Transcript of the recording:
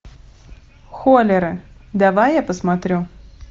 холлеры давай я посмотрю